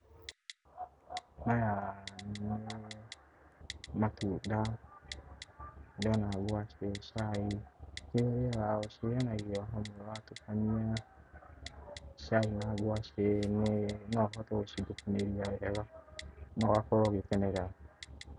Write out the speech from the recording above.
Maya nĩ matunda, ndĩrona hau cai, cirĩ o na irio watukania cai na ngwacĩ no ũhote gũcithukumĩria wega na ũgakorwo ũgĩkenera.